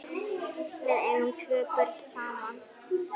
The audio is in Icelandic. Við eigum tvö börn saman.